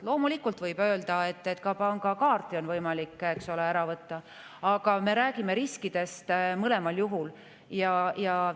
Loomulikult võib öelda, et ka pangakaarti on võimalik ära võtta, aga me räägime mõlemal juhul riskidest.